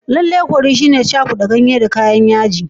Lallai curry shine cakuda ganye da kayan yaji.